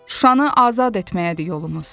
Şuşanı azad etməyədir yolumuz.